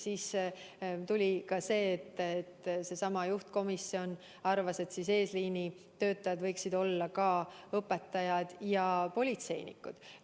Sellest tulenevalt seesama juhtkomisjon arvas, et eesliinitöötajad võiksid olla ka õpetajad ja politseinikud.